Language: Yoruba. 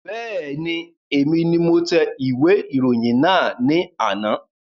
Bẹ́ẹ̀ni, èmi ni mo tẹ ìwé ìròyìn náà ní àná